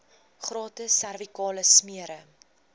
gratis servikale smere